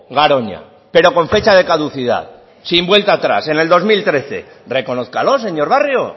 garoña pero con fecha de caducidad sin vuelta a atrás en el dos mil trece reconózcalo señor barrio